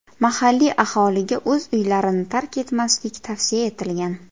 Mahalliy aholiga o‘z uylarini tark etmaslik tavsiya etilgan.